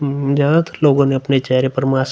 म्-ज्यादातर लोगो ने अपने चेहरे पर मास्क --